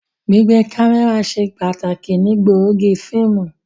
Gbigbe kamẹra ṣe pataki ni gbóògì fiimu.